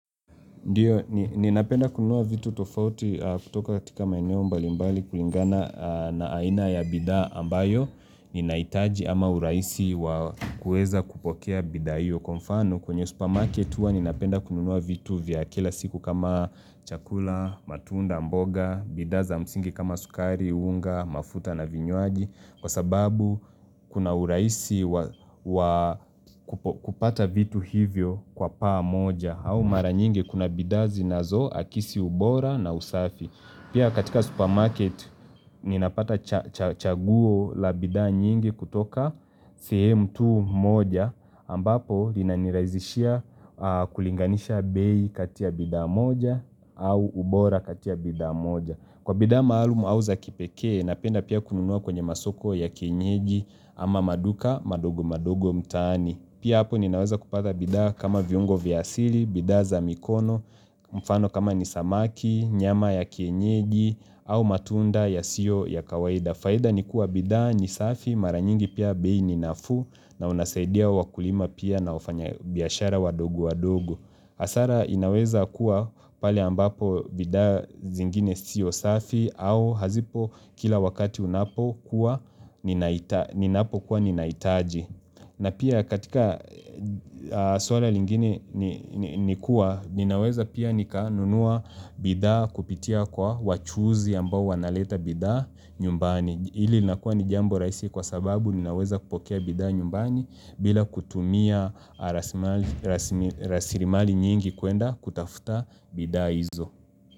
Ndiyo, ni ninapenda kununua vitu tofauti aa kutoka katika maeneo mbalimbali kulingana aa na aina ya bidhaa ambayo, ninahitaji ama urahisi waa kuweza kupokea bidhaa hiyo. Kwa mfano kwenye supermarket huwa ninapenda kununua vitu vya kila siku kama chakula, matunda, mboga, bidhaa za msingi kama sukari, unga, mafuta na vinywaji Kwa sababu kuna urahisi wa waa kupata vitu hivyo kwa paamoja au mara nyingi kuna bidhaa zinazo akisi ubora na usafi pia katika supermarket ninapata cha cha chaguo la bidhaa nyingi kutoka sehemu tu moja ambapo inanirazishia aa kulinganisha bei kati ya bidhaa moja au ubora kati ya bidhaa moja kwa bidhaa maalumu au za kipekee napenda pia kununua kwenye masoko ya kienyeji ama manduka madogo madogo mtaani pia hapo ninaweza kupata bidhaa kama viungo vya asili bidhaa za mikono mfano kama ni samaki, nyama ya kienyeji au matunda yasiyo ya kawaida faida ni kuwa bidhaa ni safi mara nyingi pia bei ni nafuu na unasaidia wakulima pia na wafanya biashara wadogo wadogo. Hasara inaweza kuwa pale ambapo bidhaa zingine siyo safi au hazipo kila wakati unapokuwa ninahita ninapokuwa ninahitaji. Na pia katika a aa swala lingine nikuwa, ninaweza pia nikanunua bidhaa kupitia kwa wachuuzi ambao wanaleta bidhaa nyumbani. Hili linakuwa ni jambo rahisi kwasababu ninaweza kupokea bidhaa nyumbani bila kutumia a rasimali rasmil rasilimali nyingi kwenda kutafuta bidhaa hizo.